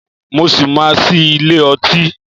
Mo ṣì máa ṣí ilé ọtí.